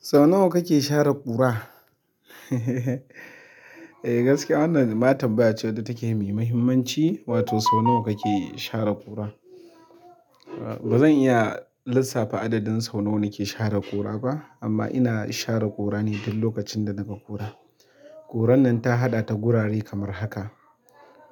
Sau nawa kake share ƙura? Eh gaskiya wannan ma tambaya ce wadda take mai muhimmanci, wato sau nawa kake share ƙura? Ba zan iya lissafa adadin sau nawa nake share ƙura ba. Amma ina share ƙura ne duk lokacin da naga ƙura. Ƙuran nan ta haɗa ta gurare kamar haka.